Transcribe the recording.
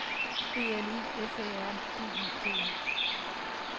B L U F Æ R D I G E